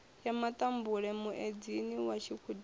ya matambule muedzini wa tshikhudini